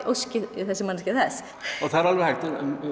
óski þessi manneskja þess það er alveg hægt